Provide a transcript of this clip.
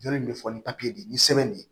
Jɔn bɛ fɔ ni de ye ni sɛbɛn de ye